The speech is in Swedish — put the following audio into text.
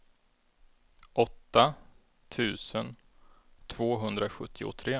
åtta tusen tvåhundrasjuttiotre